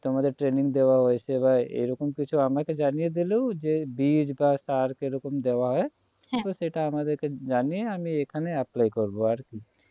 তোমাদের training দেওয়া হয়েছে এরকম কিছু আমাকে জানিয়ে দিলেও যে বীজ বা সার কিরকম দেওয়া হয় হ্যাঁ তো সেটা আমাদেরকে জানিয়ে আমি এখানে apply করবো আর কি